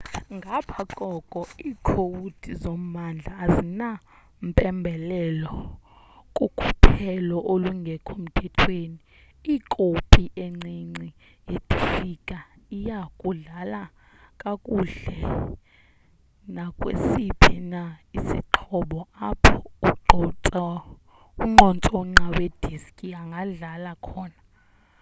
ngapha koko iikhowudi zommandla azinampembelelo kukhuphelo olungekho mthethweni ikopi encinci yediski iya kudlala kakuhle nakwesiphi na isixhobo apho unqontsonqa we diski angadlala khona